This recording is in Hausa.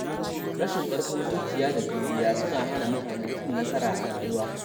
Rashin ƙarfin zuciya da juriya suna hana mutane cin nasara a rayuwa.